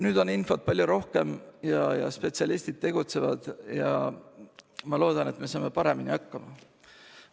Nüüd on infot palju rohkem, spetsialistid tegutsevad ja ma loodan, et me saame paremini hakkama.